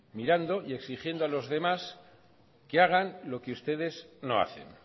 mirando y exigiendo a los demás que hagan lo que ustedes no hacen